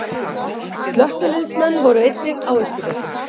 Slökkviliðsmenn voru einnig á Austurvelli